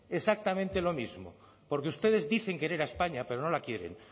exactamente lo mismo porque ustedes dicen querer a españa pero no la quieren